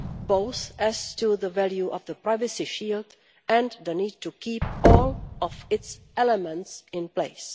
both as to the value of the privacy shield and the need to keep all of its elements in place.